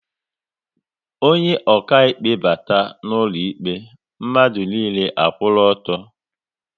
Onye okaịkpe bata n'ụlọ ikpe, mmadụ niile a kwụrụ ọtọ